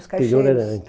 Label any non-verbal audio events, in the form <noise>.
Os caixeiros. <unintelligible>